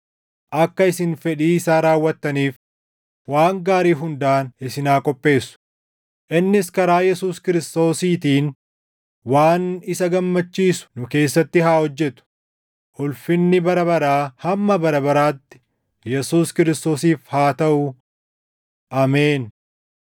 akka isin fedhii isaa raawwattaniif waan gaarii hundaan isin haa qopheessu; innis karaa Yesuus Kiristoosiitiin waan isa gammachiisu nu keessatti haa hojjetu; ulfinni bara baraa hamma bara baraatti Yesuus Kiristoosiif haa taʼu. Ameen.